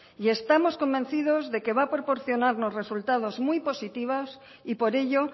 y estamos convencidos de que va a proporcionarnos resultados muy positivos y por ello